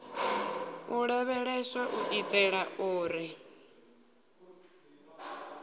u lavheleswa u itela uri